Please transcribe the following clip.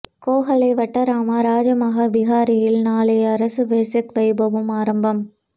கேகாலை வட்டாரம ரஜமஹா விஹாரையில் நாளை அரச வெசாக் வைபவம் ஆரம்பம்